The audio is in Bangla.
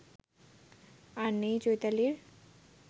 আর নেই চৈতালির